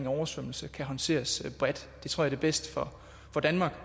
oversvømmelse kan håndteres bredt det tror jeg er bedst for danmark